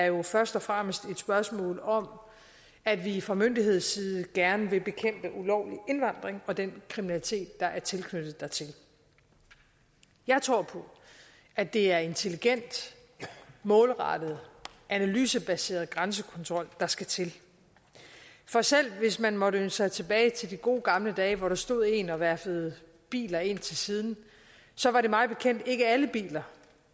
jo først og fremmest er et spørgsmål om at vi fra myndighedsside gerne vil bekæmpe ulovlig indvandring og den kriminalitet der er tilknyttet jeg tror på at det er intelligent målrettet analysebaseret grænsekontrol der skal til for selv hvis man måtte ønske sig tilbage til de gode gamle dage hvor der stod en og verfede biler ind til siden så var det mig bekendt ikke alle biler